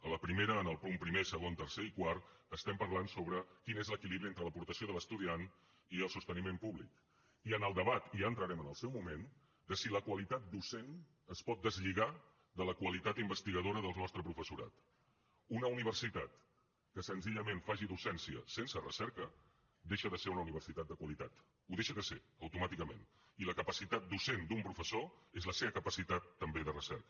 a la primera en els punts primer segon tercer i quart estem parlant sobre quin és l’equilibri entre l’aportació de l’estudiant i el sosteniment públic i en el debat i ja hi entrarem en el seu moment de si la qualitat docent es pot deslligar de la qualitat investigadora del nostre professorat una universitat que senzillament faci docència sense recerca deixa de ser una universitat de qualitat ho deixa de ser automàticament i la capacitat docent d’un professor és la seva capacitat també de recerca